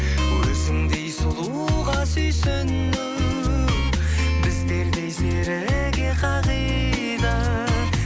өзіңдей сұлуға сүйсіну біздердей серіге қағида